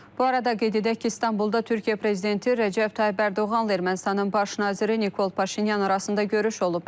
Bu arada qeyd edək ki, İstanbulda Türkiyə prezidenti Rəcəb Tayyib Ərdoğanla Ermənistanın baş naziri Nikol Paşinyan arasında görüş olub.